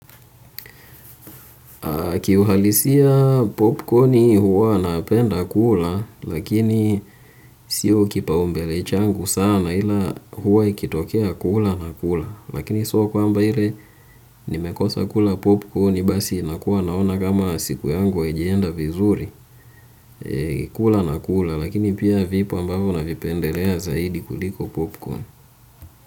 Kiuhalisia popcorni huwa napenda kula lakini sio kipaumbele changu sana ila huwa ikitokea kula na kula lakini sio kwamba ile nimekosa kula popcorni basi nakuwa naona kama siku yangu haijaenda vizuri kula na kula lakini pia vipo ambavyo navipendelea zaidi kuliko popcorn.